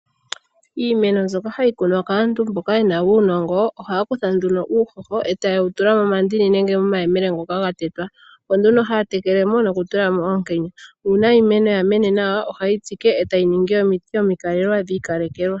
Iimeno mbyoka hayi kunwa kaantu mboka ye na uunongo, ohaya kutha nduno uuhoho eta ye wu tula momandini nenge momayemele ngoka ga tetwa. Opo nduno haatekele mo noku tula mo oonkenya. Nuuna iimeno ya mene nawa, oha ye yi tsike itayi ningi omiti imikalelwa dhiikalekelwa.